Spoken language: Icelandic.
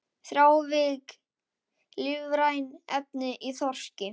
Þrávirk lífræn efni í þorski